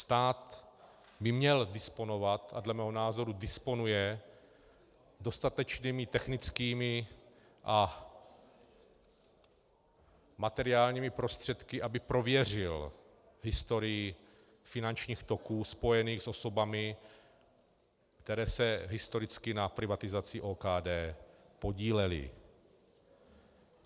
Stát by měl disponovat, a dle mého názoru disponuje, dostatečnými technickými a materiálními prostředky, aby prověřil historii finančních toků spojených s osobami, které se historicky na privatizaci OKD podílely.